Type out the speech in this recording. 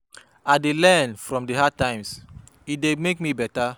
I dey learn from di hard times, e dey make me beta.